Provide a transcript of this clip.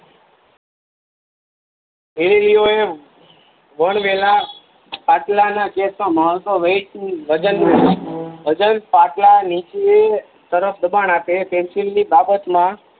હેરી લીઓ એ બળ પેલા ખાટલા ના Weight વજન વજન ખાટલા નીચે તરત દબાણ આપે પેન્સિલ ની બાબત માં